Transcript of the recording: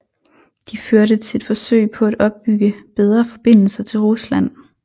De førte til et forsøg på at opbygge bedre forbindelser til Rusland